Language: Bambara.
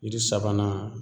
Yiri sabanan